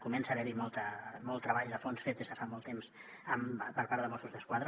comença a haver hi molt treball de fons fet des de fa molt temps per part de mossos d’esquadra